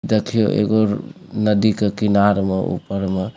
देखियो एगो नदी के किनार उमा ऊपर में --